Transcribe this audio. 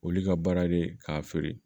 Olu ka baara de ye k'a feere